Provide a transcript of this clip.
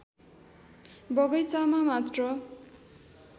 बगैँचामा मात्र